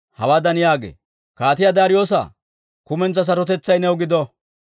hawaadan yaagee: «Kaatiyaa Daariyoosa, kumentsaa sarotetsay new gido!